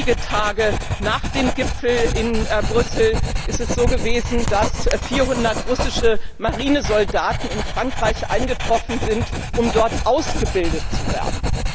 Wenige Tage nach dem Gipfel in Brüssel ist es so gewesen, dass 400 russische Marinesoldaten in Frankreich eingetroffen sind, um dort ausgebildet zu werden.